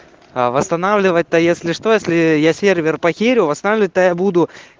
а восстанавливать то если что если я сервер потерю восстанавливать то я буду